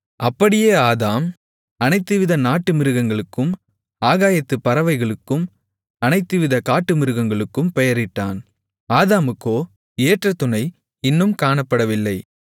அப்படியே ஆதாம் அனைத்துவித நாட்டுமிருகங்களுக்கும் ஆகாயத்துப் பறவைகளுக்கும் அனைத்துவிதக் காட்டுமிருகங்களுக்கும் பெயரிட்டான் ஆதாமுக்கோ ஏற்ற துணை இன்னும் காணப்படவில்லை